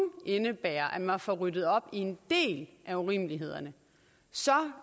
indebærer at man får ryddet op i en del af urimelighederne så